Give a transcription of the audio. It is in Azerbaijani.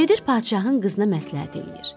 Gedir padşahın qızına məsləhət eləyir.